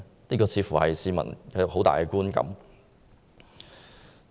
這似乎是市民一個很強烈的觀感。